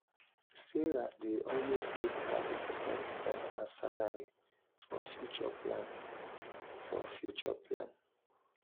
sarah dey always keep thirty percent of her salary for future plan. for future plan.